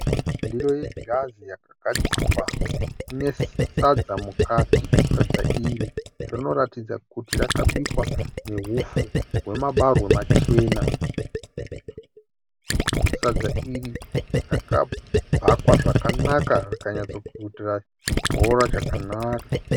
Ndiro yeghirazi yakagadzirwa ine sadza mukati, sadza iri rinoratidza kuti rakabikwa nehupfu wemabarwe machena, sadza iri rakabhakwa zvakanaka rakanyatsokutira chibhora chakanaka.